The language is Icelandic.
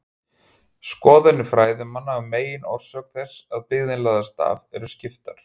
Skoðanir fræðimanna um meginorsök þess að byggðin lagðist af eru skiptar.